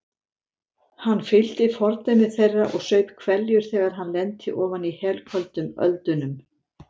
Hann fylgdi fordæmi þeirra og saup hveljur þegar hann lenti ofan í helköldum öldunum.